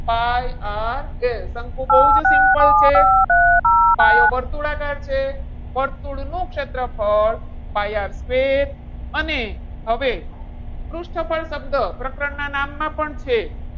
pi RL શંકુ બહુ જ simple છે. પાયો વર્તુળાકાર છે. વર્તુળનું ક્ષેત્રફળ pi R square. અને હવે પૃષ્ઠફળ શબ્દ પ્રકરણ ના નામ માં પણ છે.